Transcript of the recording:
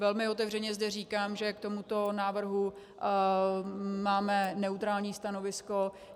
Velmi otevřeně zde říkám, že k tomuto návrhu máme neutrální stanovisko.